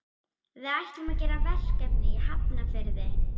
Við ætlum að gera verkefni í Hafnarfirði.